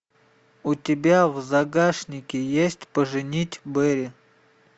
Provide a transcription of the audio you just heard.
у тебя в загашнике есть поженить бэрри